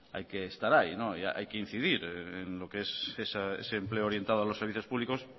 hay que estar ahí hay que incidir en lo que es ese empleo orientado a los servicios públicos